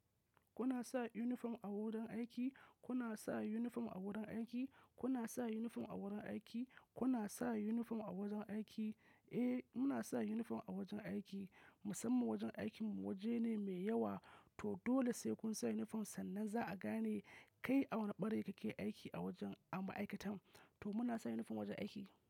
Kuna sa uniform a wurin aiki? Kuna sa uniform a wurin aiki? Kuna sa uniform a wurin aiki? Kuna sa uniform a wajen aiki? Eh, muna sa uniform a wajen aiki. Musamman wajen aikinmu waje ne mai yawa to dole sai kun sa uniform sannan za'a gane kai a wane ɓare kake aiki a wajen a ma'aikatan. To muna sa uniform wajen aiki.